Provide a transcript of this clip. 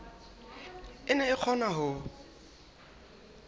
e ne e kgona ho